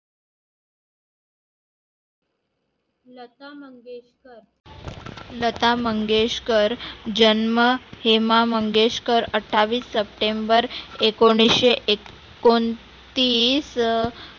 लता मंगेशकर. लता मंगेशकर जन्म हेमा मंगेशकर, अठ्ठावीस सप्टेंबर एकोणीसशे एक एकोणतीस.